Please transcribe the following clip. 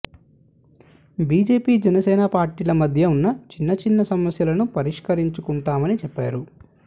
BJP Janasena పార్టీల మధ్య ఉన్న చిన్నచిన్న సమస్యలను పరిష్కరించుకుంటామని చెప్పారు